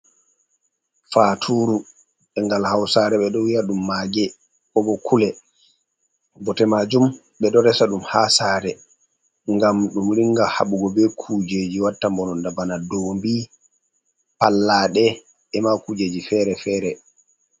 Faaturu, e ngal hausare ɓe ɗo wiya ɗum maage kobo kule. Bote maajum ɓe ɗo resa ɗum haa saare ngam ɗum ringa haɓugo be kuujeji watta mbononda, bana dombi, pallaaɗe, e ma kujeji feere-feere.